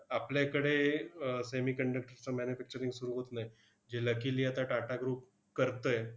आपल्याकडे अह semiconductor चं manufacturing सुरु होत नाही. जे luckily आता टाटा group करतंय.